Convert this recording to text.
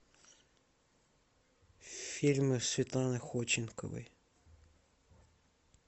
фильмы светланы ходченковой